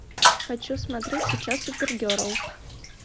хочу смотреть сейчас супергерл